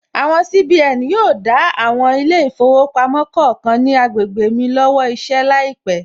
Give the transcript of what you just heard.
Àwọn CBN yóò dá àwọn ilé ìfowópamọ́ kọ̀ọ̀kan ní agbègbè mi lọ́wọ́ iṣẹ́ láìpẹ̀